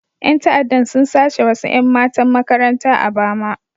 Yan ta'adda sun sace wasu 'yan matan makaranta a Bama.